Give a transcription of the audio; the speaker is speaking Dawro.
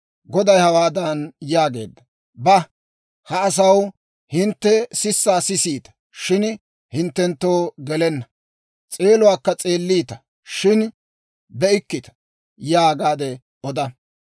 Goday hawaadan yaageedda; «Ba; ha asaw, ‹Hintte sissaa sisiita; shin hinttenttoo gelenna; s'eeluwaakka s'eelliita; shin be'ikkita› yaagaade oda.